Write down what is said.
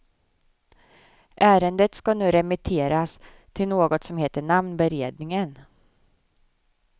Ärendet ska nu remitteras till något som heter namnberedningen.